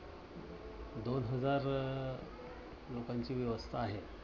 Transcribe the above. दोन हजार लोकांची व्यवस्था आहे.